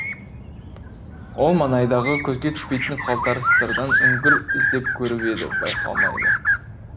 ол маңайдағы көзге түспейтін қалтарыстардан үңгір іздеп көріп еді байқалмады